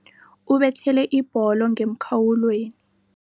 Ubethele ibholo ngemkhawulweni.